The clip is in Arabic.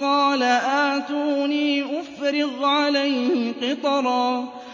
قَالَ آتُونِي أُفْرِغْ عَلَيْهِ قِطْرًا